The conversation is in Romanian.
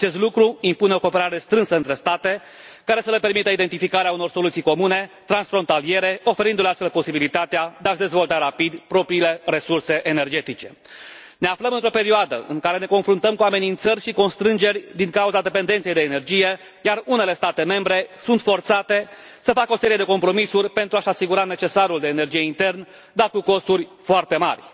Acest lucru impune o cooperare strânsă între state, care să le permită identificarea unor soluții comune, transfrontaliere, oferindu le astfel posibilitatea de a și dezvolta rapid propriile resurse energetice. Ne aflăm într o perioadă în care ne confruntăm cu amenințări și constrângeri din cauza dependenței de energie, iar unele state membre sunt forțate să facă o serie de compromisuri pentru a și asigura necesarul de energie intern, dar cu costuri foarte mari.